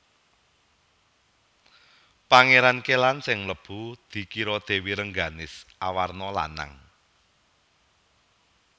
Pangéran Kélan sing mlebu dikira Dèwi Rengganis awarna lanang